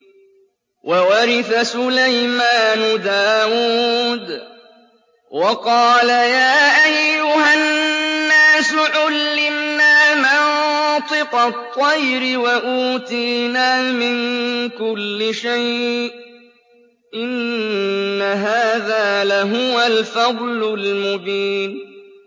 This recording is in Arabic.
وَوَرِثَ سُلَيْمَانُ دَاوُودَ ۖ وَقَالَ يَا أَيُّهَا النَّاسُ عُلِّمْنَا مَنطِقَ الطَّيْرِ وَأُوتِينَا مِن كُلِّ شَيْءٍ ۖ إِنَّ هَٰذَا لَهُوَ الْفَضْلُ الْمُبِينُ